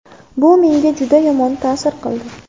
Bu menga juda yomon ta’sir qildi.